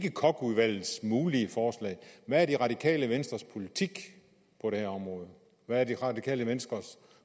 er koch udvalgets mulige forslag hvad er det radikale venstres politik på det her område hvad er det radikale venstres